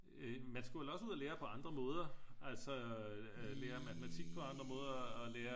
Øh man skulle vel også ud og lære på andre måder altså lære matematik på andre måder og lære